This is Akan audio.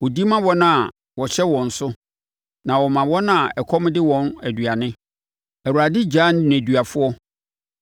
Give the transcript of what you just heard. Ɔdi ma wɔn a wɔhyɛ wɔn so, na ɔma wɔn a ɛkɔm de wɔn aduane. Awurade gyaa nneduafoɔ,